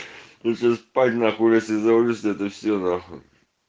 пиздуй спать на хуй я тебя завалю в следующий раз нахуй